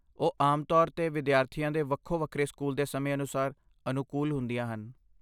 ਉਹ ਆਮ ਤੌਰ 'ਤੇ ਵਿਦਿਆਰਥੀਆਂ ਦੇ ਵੱਖੋ ਵੱਖਰੇ ਸਕੂਲ ਦੇ ਸਮੇਂ ਅਨੁਸਾਰ ਅਨੁਕੂਲ ਹੁੰਦੀਆਂ ਹਨ